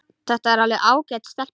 Þetta er alveg ágæt stelpa.